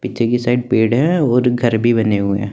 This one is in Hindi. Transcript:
पीछे की साइड पेड़ है और घर भी बने हुए हैं।